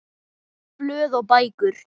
Blöð og bækur